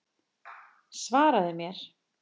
Svaraðu mér!